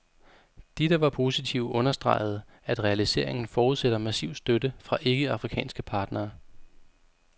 De, der var positive, understregede, at realiseringen forudsætter massiv støtte fra ikke-afrikanske partnere.